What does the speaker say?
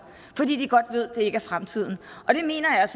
fordi de godt ved at ikke er fremtiden det mener jeg